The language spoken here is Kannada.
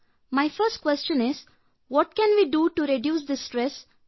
ನನ್ನ ಮೊದಲ ಪ್ರಶ್ನೆ ನಮ್ಮ ಪರೀಕ್ಷೆ ಸಮಯ ಸಮಯದಲ್ಲಿ ಉಂಟಾಗುವ ಒತ್ತಡ ನಿವಾರಿಸಲು ನಾವೇನು ಮಾಡಬೇಕು